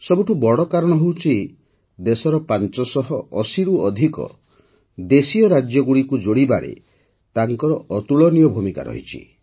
ସବୁଠାରୁ ବଡ଼ କାରଣ ହେଉଛି ଦେଶର ୫୮୦ରୁ ଅଧିକ ଦେଶୀୟ ରାଜ୍ୟଗୁଡ଼ିକୁ ଯୋଡ଼ିବାରେ ତାଙ୍କର ଅତୁଳନୀୟ ଭୂମିକା ରହିଛି